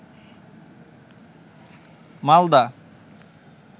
Malda